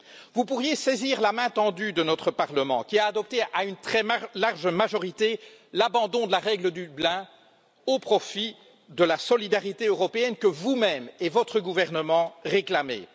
Vous pourriez saisir la main tendue de notre Parlement, qui a adopté à une très large majorité, l'abandon de la règle de Dublin au profit de la solidarité européenne que vous même et votre gouvernement réclamez.